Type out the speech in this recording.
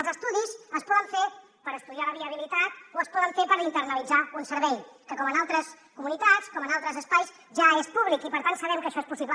els estudis es poden fer per estudiar la viabilitat o es poden fer per internalitzar un servei que com en altres comunitats com en altres espais ja és públic i per tant sabem que això és possible